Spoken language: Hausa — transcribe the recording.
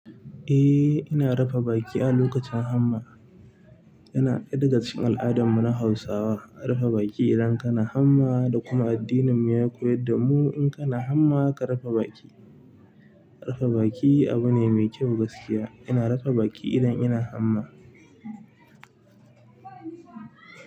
Eh, ina rufe baki a lokacin hamma. Yana ɗaya daga cikin al'adun mu na Hausawa, rufe baki idan kana hamma da kuma addinin mu ya koyar da mu in kana hamma ka rufe baki. Rufe baki abu ne mai kyau gaskiya. Ina rafa baƙi idan ina hamma.